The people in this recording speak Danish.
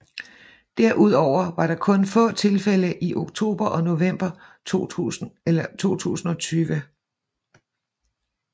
Derudover var der kun få tilfælde i oktober og november 2020